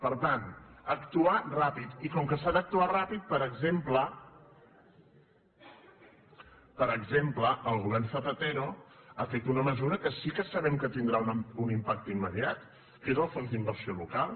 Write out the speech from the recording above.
per tant actuar ràpid i com que s’ha d’actuar ràpid per exemple el govern zapatero ha fet una mesura que sí que sabem que tindrà un impacte immediat que és el fons d’inversió local